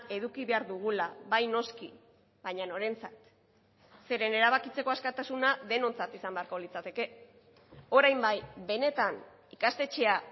eduki behar dugula bai noski baina norentzat zeren erabakitzeko askatasuna denontzat izan beharko litzateke orain bai benetan ikastetxea